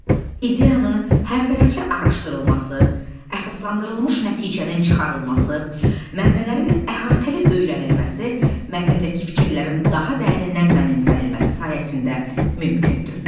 İdeyanın hər tərəfli araşdırılması, əsaslandırılmış nəticənin çıxarılması, mənbələrin əhatəli öyrənilməsi, mətndəki fikirlərin daha dərindən mənimsənilməsi sayəsində mümkündür.